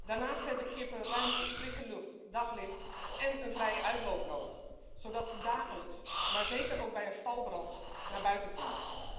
Daarnaast hebben kippen ruimte, frisse lucht, daglicht en een vrije uitloop nodig zodat ze dagelijks maar zeker ook bij een stalbrand naar buiten kunnen.